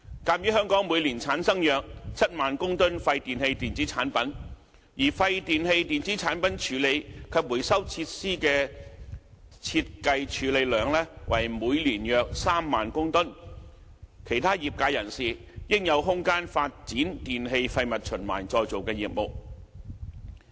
鑒於香港每年產生約7萬公噸廢電器電子產品，而廢電器電子產品處理及回收設施的設計處理量為每年約3萬公噸，其他業界人士應有空間發展電器廢物循環再造的業務。